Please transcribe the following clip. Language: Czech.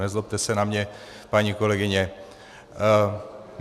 Nezlobte se na mě, paní kolegyně.